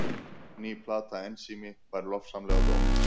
Ný plata Ensími fær lofsamlega dóma